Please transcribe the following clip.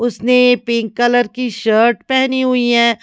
उसने pink colour की shirt पहनी हुई है।